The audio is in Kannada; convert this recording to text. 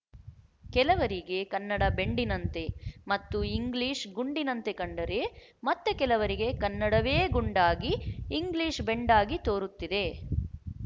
ಕೆಲವರಿಗೆ ಕನ್ನಡ ಬೆಂಡಿನಂತೆ ಮತ್ತು ಇಂಗ್ಲಿಶ ಗುಂಡಿನಂತೆ ಕಂಡರೆ ಮತ್ತೆ ಕೆಲವರಿಗೆ ಕನ್ನಡವೇ ಗುಂಡಾಗಿ ಇಂಗ್ಲಿಶ ಬೆಂಡಾಗಿ ತೋರುತ್ತಿದೆ